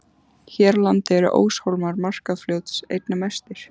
Hér á landi eru óshólmar Markarfljóts einna mestir.